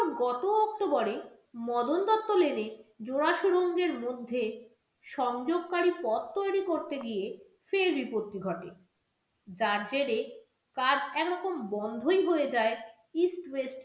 গত october এ Madan Dutta lane এ জোড়া সুরঙ্গের মধ্যে সংযোগকারী পথ তৈরী করতে গিয়ে ফের বিপত্তি ঘটে। তার জেড়ে কাজ এক রকম বন্ধই হয়ে যায় eastwest